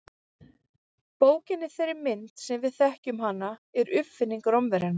Bókin í þeirri mynd sem við þekkjum hana er uppfinning Rómverjanna.